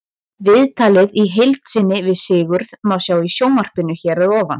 Viðtalið í heild sinni við Sigurð má sjá í sjónvarpinu hér að ofan.